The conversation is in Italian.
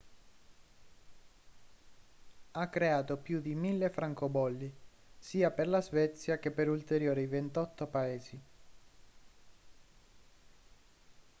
ha creato più di 1.000 francobolli sia per la svezia che per ulteriori 28 paesi